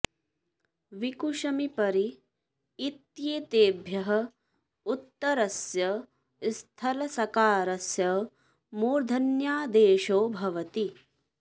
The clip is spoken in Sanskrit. वि कु शमि परि इत्येतेभ्यः उत्तरस्य स्थलसकारस्य मूर्धन्यादेशो भवति